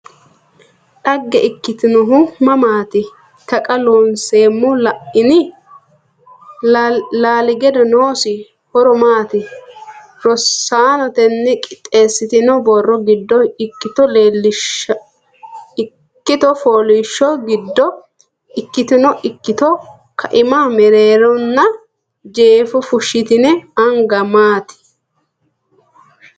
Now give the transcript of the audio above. Dhagge ikkitinohu mamaati? Taqa Loonseemmo La’ini? Laalgiddo noosi ho’ro maati? Rosaano tenne qixeessitinoonni borro giddo ikkito fooliishsho giddo ikkitino ikkito kaima mereeronna jeefo fushshitine anga maati?